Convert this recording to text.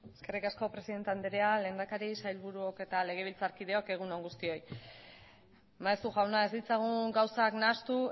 eskerrik asko presidente andrea lehendakari sailburuok eta legebiltzarkideok egun on guztioi maeztu jauna ez ditzagun gauzak nahastu